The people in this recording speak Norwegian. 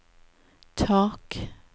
tak